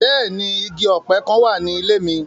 Bẹ́ẹ̀ni, igi ope kan wa ni ile mi.